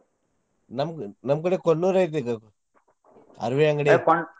ನಮ್ಗ್~ ನಮ್ಮ್ ಕಡೆ ಕೊಣ್ಣೂರ್ ಇದ್ದಿದ್ದ್ ಅರವಿ ಅಂಗ್ಡಿ.